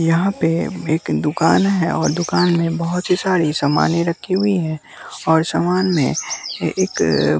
यहाँ पे एक दुकान है और दुकान में बहुत सी सारी सामान रखी हुई है और सामान में ये एक--